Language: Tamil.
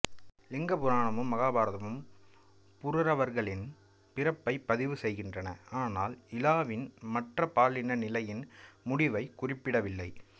லிங்க புராணமும் மகாபாரதமும் புருரவர்களின் பிறப்பை பதிவு செய்கின்றன ஆனால் இலாவின் மாற்று பாலின நிலையின் முடிவைக் குறிப்பிடவில்லை